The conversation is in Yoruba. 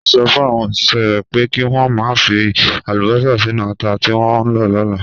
Ó sọ fún àwọn òṣìṣẹ́ rẹ̀ pé kí wọ́n má ṣe fi àlùbọ́sà sínú ata tí wọ́n ń lọ lọ́la.